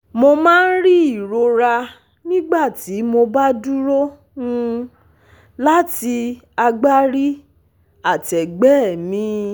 Mo máa ń rí ìrora nígbà tí mo bá dúró um láti agbárí àtẹgbẹ́ mi